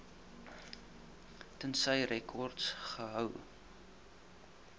tensy rekords gehou